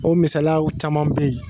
O misalalaw caman bɛ yen